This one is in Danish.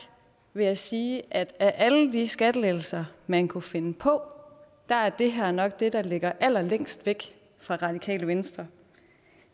vil jeg sige at af alle de skattelettelser man kunne finde på er det her nok det der ligger længst væk fra radikale venstre